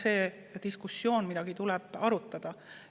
See on see diskussioon, mida tulebki arutada.